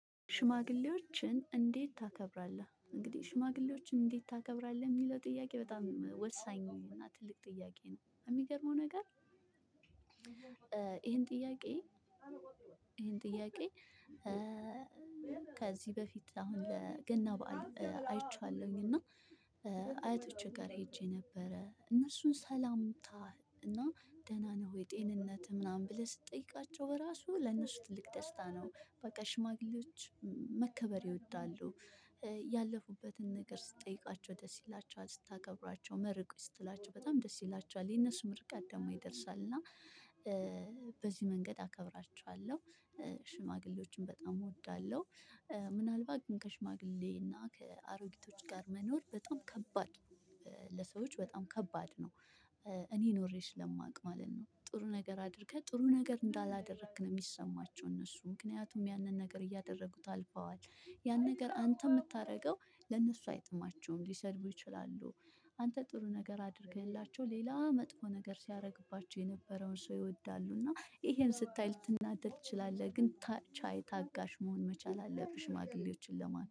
ሽማግሌዎችን እንዴት ታከብራለህ እንግዲህ ሽማግሌዎችን እንዴት ታከብራለህ? የሚለው ጥያቄ በጣም ወሳኝ እና ትልቅ ጥያቄ ነው። የሚገርመው ነገር። ይሄን ጥያቄ ይሄን ጥያቄ። ከዚህ በፊት አሁን ለገና በዓል አይቼዋለሁኝ። እና አያቶቼ ጋር ሄጄ ነበረ እነሱን ሰላምታ እና ደህና ነህ ወይ ጤንነትህ ምናምን ብለህ ስትጠይቃቸው በራሱ ለእነሱ ትልቅ ደስታ ነው። በቃ ሽማግሌዎች መከበር ይወዳሉ። ያለፉበትን ነገር ስትጠይቃቸው ደስ ይላቸዋል ስታከብራቸው መርቁኝ ስትላቸው በጣም ደስ ይላቸዋል። የነሱ ምርቃት ደግሞ ይደርሳል እና በዚህ መንገድ አከብራቸዋለሁ። ሽማግሌዎችን በጣም እወዳለሁ። ምናልባት ግን ከሽማግሌ እና ከአሮጊቶች ጋር መኖር በጣም ከባድ። ለሰዎች በጣም ከባድ ነው። እኔ ኖሬ ስለማውቅ ማለት ነው። ጥሩ ነገር አድርገህ ጥሩ ነገር እንዳላደረክ ነው የሚሰማቸው እነሱ ምክንያቱም ያንን ነገር እያደረጉት አልፈዋል። ያን ነገር አንተ የምታደርገው ለነሱ አይጥማቸውም ሊሰድቡህ ይችላሉ። አንተ ጥሩ ነገር አድርገህላቸው ሌላ መጥፎ ነገር ሲያደርግባቸው የነበረውን ሰው ይወዳሉ እና ይሄን ስታይ ልትናደድ ትችላለህ። ግን ቻይ ታጋሽ መሆን መቻል አለብህ። ሽማግሌዎችን ለማን